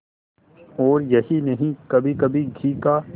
और यही नहीं कभीकभी घी का